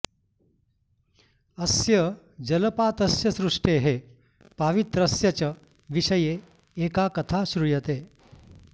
अस्य जलपातस्य सृष्टेः पावित्र्यस्य च विषये एका कथा श्रूयते